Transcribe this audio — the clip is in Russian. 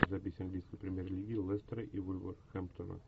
запись английской премьер лиги лестера и вулверхэмптона